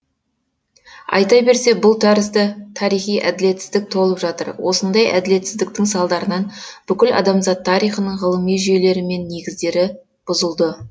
айта берсе бұл тәрізді тарихи әділетсіздік толып жатыр осындай әділетсіздіктің салдарынан бүкіл адамзат тарихының ғылыми жүйелері мен негіздері бұзылды